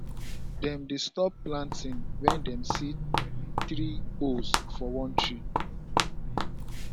dem dey stop planting when dem see three owls for one tree